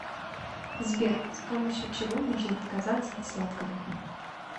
сбер с помощью чего можно отказаться от сладкого